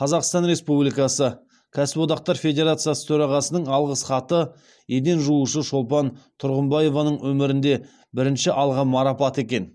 қазақстан республикасы кәсіподақтар федерациясы төрағасының алғыс хаты еден жуушы шолпан тұрғымбаеваның өмірінде бірінші алған марапаты екен